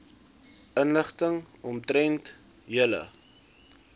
inligting omtrent julle